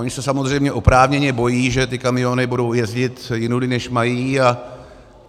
Oni se samozřejmě oprávněně bojí, že ty kamiony budou jezdit jinudy, než mají.